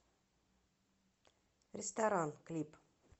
ресторан клип